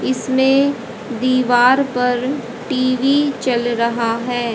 इसमें दीवार पर टी_वी चल रहा है।